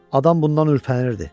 Adam bundan ürpənirdi.